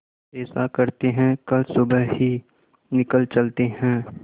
ऐसा करते है कल सुबह ही निकल चलते है